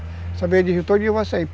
Essa beira de rio todinha vai sair.